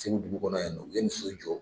Segu dugu kɔnɔ yan nɔ u ye nin so jɔ.